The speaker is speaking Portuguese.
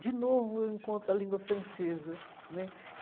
De novo eu encontro a língua francesa né.